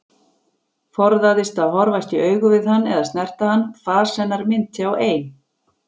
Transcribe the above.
Forðaðist að horfast í augu við hann eða snerta hann, fas hennar minnti á ein